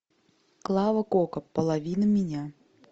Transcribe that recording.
клава кока половина меня